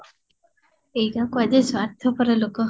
ଏଇଟା କୁହାଯାଏ ସ୍ୱାର୍ଥପର ଲୋକ